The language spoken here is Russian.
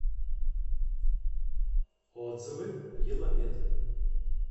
отзывы еламед